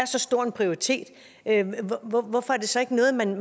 er så stor en prioritet hvorfor er det så ikke noget man